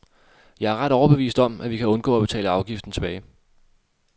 Jeg er ret overbevist om, at vi kan undgå at betale afgiften tilbage.